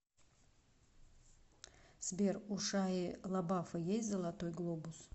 сбер у шайи лабафа есть золотой глобус